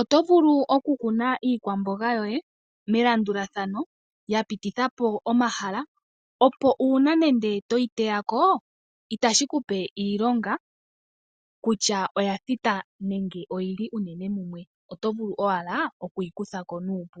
Oto vulu okukuna iikwamboga yoye melandulathano, ya pitithilathana po omahala, opo uuna toyi teya ko itashi ku pe iilonga kutya oya thita nenge yi li mumwe, oto vulu owala okuyi kutha ko nuupu.